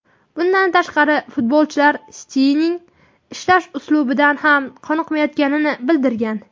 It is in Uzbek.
Bundan tashqari, futbolchilar Setyenning ishlash uslubidan ham qoniqmayotganini bildirgan.